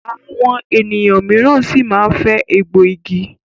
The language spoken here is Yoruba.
Àwọn ènìyàn míràn sí má fè egbò ìgi.